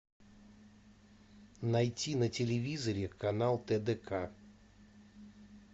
найти на телевизоре канал тдк